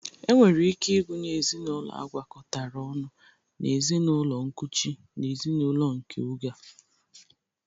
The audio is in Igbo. E nwere ike ịgụnye ezinaụlọ agwakọtara ọnụ na ezinaụlọ nkuchi n'ezinaụlọ nke oge a.